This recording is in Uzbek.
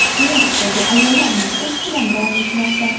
Minskdagi ayollar marshi hamon davom etmoqda.